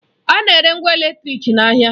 A na-ere ngwa eletrịk n'ahịa.